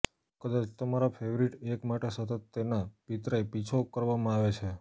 કદાચ તમારા ફેવરિટ એક માટે સતત તેના પિતરાઈ પીછો કરવામાં આવે છે